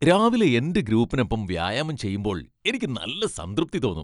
രാവിലെ എന്റെ ഗ്രൂപ്പിനൊപ്പം വ്യായാമം ചെയ്യുമ്പോൾ എനിക്ക് നല്ല സംതൃപ്തി തോന്നും .